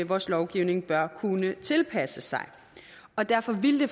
vores lovgivning bør kunne tilpasse sig og derfor ville det